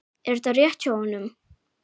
Er þetta rétt hjá honum?